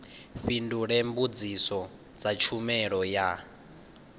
fhindule mbudziso dza tshumelo ya